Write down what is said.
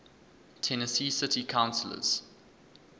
tennessee city councillors